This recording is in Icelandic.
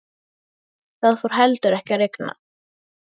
Það fór heldur ekki að rigna.